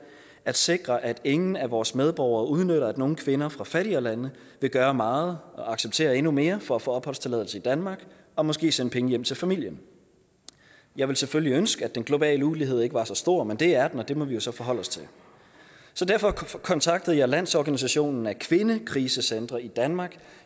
sikrer at ingen af vores medborgere udnytter at nogle kvinder fra fattigere lande vil gøre meget og acceptere endnu mere for at få opholdstilladelse i danmark og måske sende penge hjem til familien jeg ville selvfølgelig ønske at den globale ulighed ikke var så stor men det er den og det må vi jo så forholde os til derfor kontaktede jeg landsorganisationen af kvindekrisecentre i danmark